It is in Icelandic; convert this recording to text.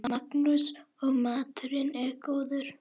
Magnús: Og maturinn góður?